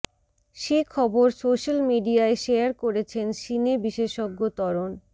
সে খবর সোশ্যাল মিডিয়ায় শেয়ার করেছেন সিনে বিশেষজ্ঞ তরণ